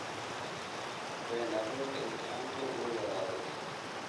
Been abuurka imtixaanku wuu yaraaday